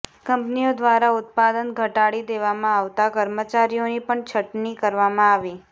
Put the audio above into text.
કંપનીઓ દ્વારા ઉત્પાદન ઘટાડી દેવામાં આવતા કર્મચારીઓની પણ છટણી કરવામાં આવી